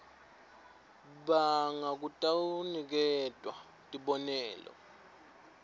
banga kutawuniketwa tibonelo